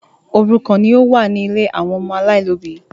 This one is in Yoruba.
Òrùkan ní ọ wá ní ílé àwọn ọmọ alailòbí